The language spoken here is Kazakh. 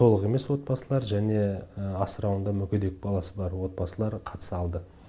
толық емес отбасылар және асырауында мүгедек баласы бар отбасылар қатыса алды